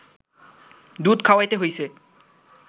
দুধ খাওয়াইতে হইছে